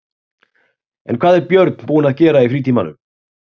En hvað er Björn búinn að vera að gera í frítímanum?